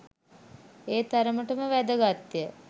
ඒ තරමටම වැදගත් ය